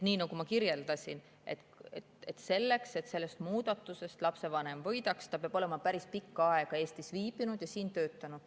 Nii nagu ma kirjeldasin, selleks, et lapsevanem sellest muudatusest võidaks, peab ta olema päris pikka aega Eestis viibinud ja siin töötanud.